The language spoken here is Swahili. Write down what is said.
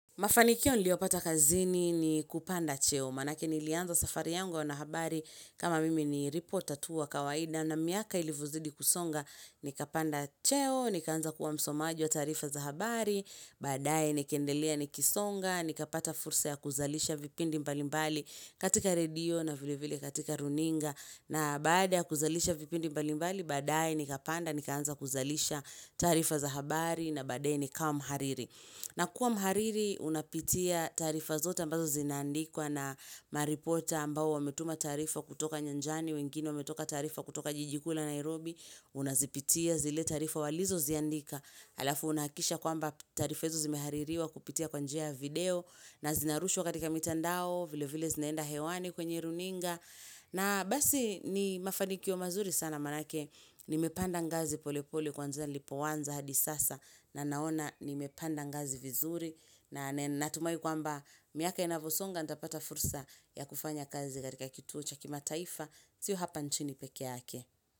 Mafanikio niliopata kazini ni kupanda cheo, manake nilianza safari yangu na uanahabari kama mimi ni ripota tuwa kawaida na miaka ilivozidi kusonga, nikapanda cheo, nikaanza kuwa msomaji wa taarifa za habari, baadaye nikaendelea nikisonga, nikapata fursa ya kuzalisha vipindi mbalimbali katika redio na vilevile katika runinga, na baada ya kuzalisha vipindi mbalimbali, baadaye nikapanda, nikaanza kuzalisha taarifa za habari, na baadaye nikawa mhariri. Na kuwa mhariri unapitia taarifa zote ambazo zinaandikwa na maripota ambao wametuma taarifa kutoka nyanjani, wengine wametoka taarifa kutoka jijikuu la Nairobi, unazipitia zile taarifa walizo ziandika. Alafu unahakisha kwamba taarifa hizo zimehaririwa kupitia kwanjia video na zinarushwa katika mitandao vile vile zinaenda hewani kwenye runinga na basi ni mafanikio mazuri sana manake nimepanda ngazi polepole kuanzia nilipoanza hadi sasa na naona nimepanda ngazi vizuri na natumai kwamba miaka inavosonga nitapata fursa ya kufanya kazi katika kituo chakima taifa sio hapa nchini peke yake.